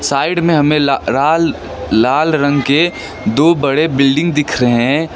Side में हमें लाल लाल रंग के दो बड़े बिल्डिंग दिख रहे हैं।